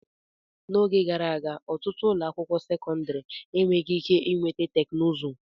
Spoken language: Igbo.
N'oge gara aga, ọtụtụ ụlọ akwụkwọ sekọndrị e weghị ike iweta teknụzụ.